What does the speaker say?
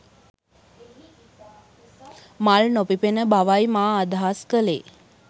මල් නොපිපෙන බවයි මා අදහස් කලේ